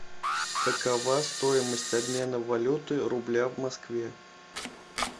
какова стоимость обмена валюты рубля в москве